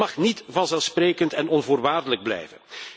Dat mag niet vanzelfsprekend en onvoorwaardelijk blijven.